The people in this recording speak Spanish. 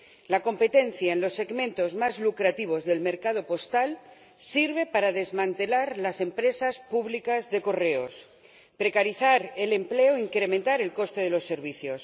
La competencia en los segmentos más lucrativos del mercado postal sirve para desmantelar las empresas públicas de Correos, precarizar el empleo e incrementar el coste de los servicios.